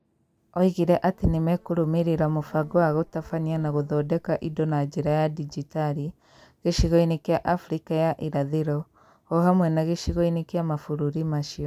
Oigire atĩ nĩ mekũrũmĩrĩra mũbango wa gũtabania na gũthondeka indo na njĩra ya digitali gĩcigo-inĩ kĩa Afrika ya irathĩro, o hamwe na gĩcigo-inĩ gĩa mabũrũri macio.